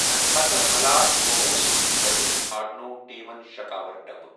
اَمہِ پتہٕ حالات قوبوٗوس منٛز تٔھٲوِتھ پھاٹنوو ٹیٖمن شَکاوَر ڈَبہٕ ۔